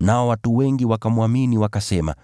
Nao watu wengi wakamwamini, wakasema,